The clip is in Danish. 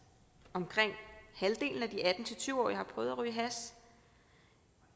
omkring halvdelen af de atten til tyve årige har prøvet at ryge hash